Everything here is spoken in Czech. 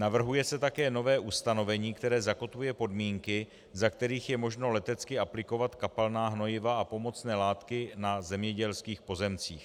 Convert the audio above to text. Navrhuje se také nové ustanovení, které zakotvuje podmínky, za kterých je možno letecky aplikovat kapalná hnojiva a pomocné látky na zemědělských pozemcích.